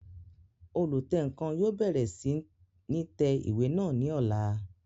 Olùtẹǹkan yóò bẹ̀rẹ̀ sí ní tẹ ìwé náà ní ọ̀la